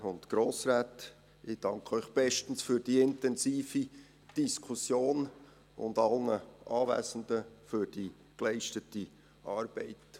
Ich danke Ihnen bestens für diese intensive Diskussion und allen Anwesenden für die geleistete Arbeit.